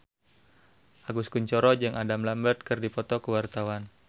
Agus Kuncoro jeung Adam Lambert keur dipoto ku wartawan